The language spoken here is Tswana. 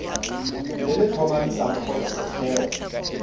le le tlhomamisang gore setheo